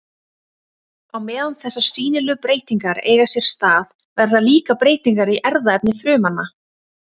Á meðan þessar sýnilegu breytingar eiga sér stað verða líka breytingar í erfðaefni frumanna.